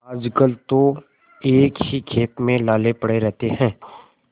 आजकल तो एक ही खेप में लाले पड़े रहते हैं